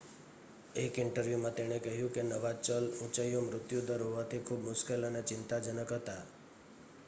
"એક ઇન્ટરવ્યુ માં તેણે કહ્યું કે નવા ચલ "ઊંચો મૃત્યુ દર હોવાથી ખૂબ મુશ્કેલ અને ચિંતાજનક" હતા.